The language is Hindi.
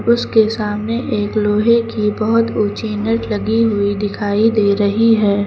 उसके सामने एक लोहे की बहुत ऊंचे नेट लगी हुई दिखाई दे रही है।